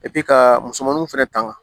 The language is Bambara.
ka musomaninw fɛnɛ tanga